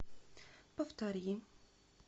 повтори